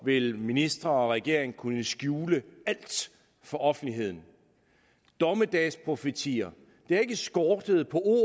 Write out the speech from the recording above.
vil ministre og regering kunne skjule alt for offentligheden dommedagsprofetier det har ikke skortet på